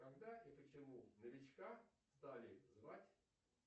когда и почему новичка стали звать